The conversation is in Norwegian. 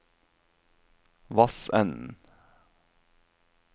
Vassenden